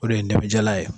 O de ye negejɛla ye